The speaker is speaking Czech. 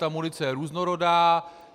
Ta munice je různorodá.